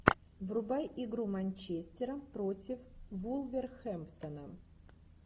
врубай игру манчестера против вулверхэмптон